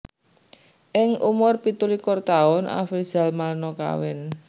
Ing umur pitu likur taun Afrizal Malna kawin